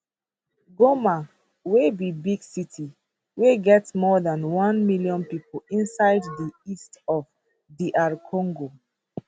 goma wey be big city wey get more dan one million pipo inside for di east of dr congo